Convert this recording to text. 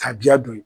Kabiya don